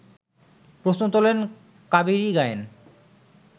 প্রশ্ন তোলেন কাবেরী গায়েন